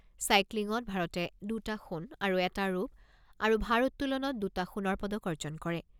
চাইক্লিঙত ভাৰতে দুটা সোণ আৰু এটা ৰূপ আৰু ভাৰ উত্তোলনত দুটা সোণৰ পদক অৰ্জন কৰে।